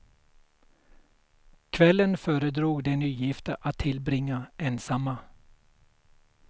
Kvällen föredrog de nygifta att tillbringa ensamma.